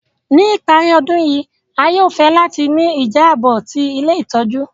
Ni ìparí ọdun yi, a yóò fẹ láti ni ìjábò ti ilé ìtójú